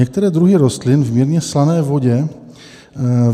Některé druhy rostou v mírně slané vodě.